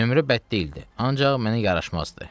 Nömrə bəd deyildi, ancaq mənə yaraşmazdı.